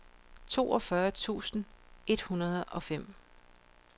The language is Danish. toogfyrre tusind et hundrede og fem